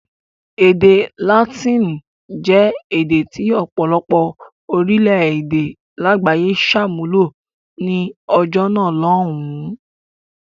Èdè Látíìnì jẹ́ èdè tí ọ̀pọ̀lọpọ̀ orílẹ̀-èdè lágbàáyé ṣàmúlò ní ọjọ́ náà lọ́hùn-ún.